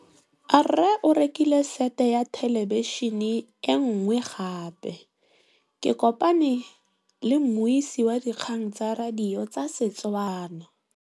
Rre o rekile sete ya thêlêbišênê e nngwe gape. Ke kopane mmuisi w dikgang tsa radio tsa Setswana.